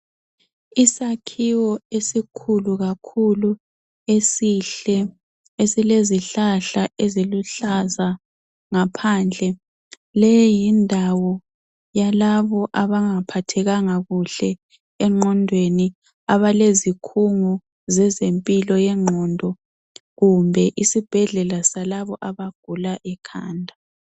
Isakhiwo esikhulu kakhulu esihle, esilezihlahla eziluhlaza ngaphandle. Leyi yindawo yalabo abangaphathekanga kuhle engqondweni, abalezikhungo zezempilo yengqondo kumbe isibhedlela salabo abagula ikhanda.